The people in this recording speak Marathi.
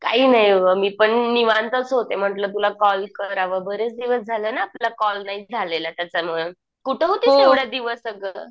काही नाही गं मी पण निवांतच होते. म्हंटल तुला कॉल करावं बरेच दिवस झाले ना तुला कॉल नाही झालेला त्याच्यामुळं. कुठं होतीस एवढ्या दिवस अगं?